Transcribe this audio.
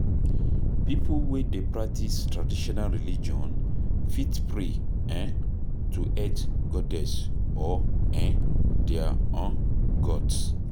Pipo wey dey practice traditional religion fit pray um to earth goddess or um their um gods